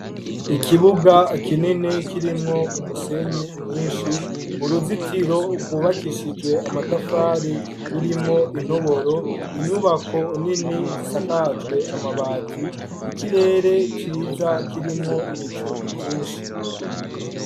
Ikibuga kinini kirimwo umusenyi mwinshi, uruzitiro rwubakishijwe amatafari rurimwo intoboro, inyubako nini zisakajwe amabati , ikirere ciza kirimwo ibicu vyinshi.